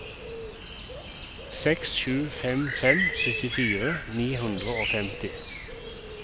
seks sju fem fem syttifire ni hundre og femti